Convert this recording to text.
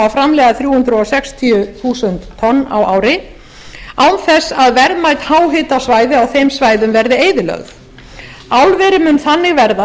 framleiða þrjú hundruð sextíu þúsund á ári án þess að verðmæt háhitasvæði á þeim svæðum verði eyðilögð álverið mun þannig verða